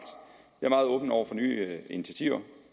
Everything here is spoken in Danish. jeg meget åben over for nye initiativer